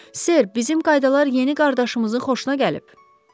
Ser, bizim qaydalar yeni qardaşımızın xoşuna gəlib.